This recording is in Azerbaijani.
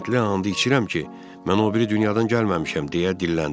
Hindli and içirəm ki, mən o biri dünyadan gəlməmişəm, deyə dilləndim.